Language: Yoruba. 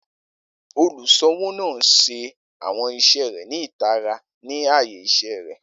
Oluṣowo naa n ṣe awọn iṣẹ rẹ ni itara ni aaye iṣẹ rẹ.